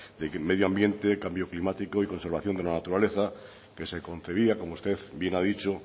de que en medio ambiente y cambio climático y conservación de la naturaleza que se concebía como usted bien ha dicho